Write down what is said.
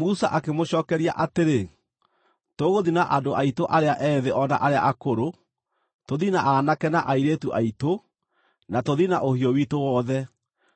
Musa akĩmũcookeria atĩrĩ, “Tũgũthiĩ na andũ aitũ arĩa ethĩ o na arĩa akũrũ, tũthiĩ na aanake na airĩtu aitũ, na tũthiĩ na ũhiũ witũ wothe,